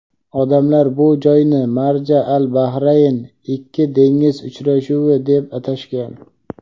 Odamlar bu joyni "Marja-al-bahrayn" — "Ikki dengiz uchrashuvi" deb atashgan.